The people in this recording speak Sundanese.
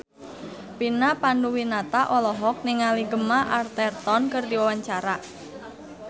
Vina Panduwinata olohok ningali Gemma Arterton keur diwawancara